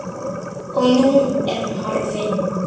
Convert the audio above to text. Og nú er hún horfin.